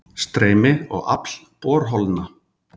Streymi og afl borholna